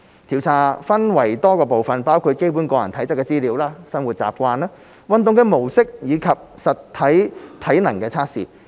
調查分為多個部分，包括基本個人體質資料、生活習慣，運動模式及實體體能測試。